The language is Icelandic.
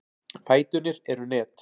Fæturnir eru net.